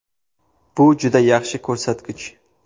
Bu juda yaxshi ko‘rsatkich.